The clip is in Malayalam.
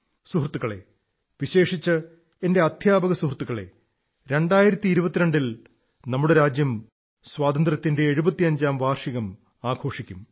സുഹൃത്തുക്കളേ വിശേഷിച്ച് എന്റെ അധ്യാപക സുഹൃത്തുക്കളേ 2022 ൽ നമ്മുടെ രാജ്യം സ്വാതന്ത്ര്യത്തിന്റെ എഴുത്തിയഞ്ചാം വർഷം ആഘോഷിക്കും